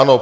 Ano.